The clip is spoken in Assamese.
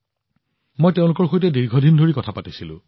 মই তেওঁলোকৰ সৈতেও দীঘলীয়া সময় ধৰি কথা পাতিছিলো